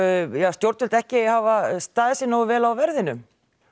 stjórnvöld ekki hafa staðið sig nógu vel á verðinum